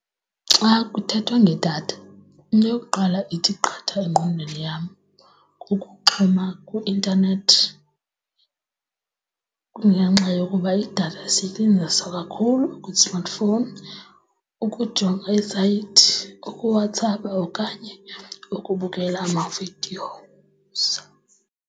Xa kuthethwa ngedatha into yokuqala ithi qatha engqondweni yam kukuxhuma kwi-intanethi. Kungenxa yokuba idatha isetyenziswa kakhulu kwi-smartphone ukujonga iisayithi, ukuWhatApp-a okanye ukubukela ama-videos.